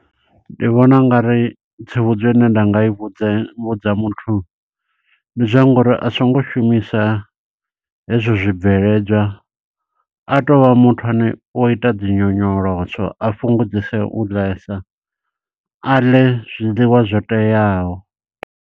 Ndi vhona ungari tsivhudzo ine nda nga i vhudze vhudza muthu, ndi zwa ngo uri asongo shumisa hezwo zwibveledzwa, a tovha muthu ane o ita dzi nyonyoloso. A fhungudzese u ḽesa, a ḽe zwiḽiwa zwo teaho.